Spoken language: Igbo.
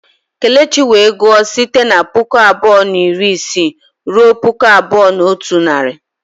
Kelechi wee gụọ site na puku abụọ na iri isii ruo puku abụọ na otu narị.